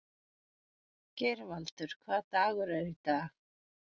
Geirvaldur, hvaða dagur er í dag?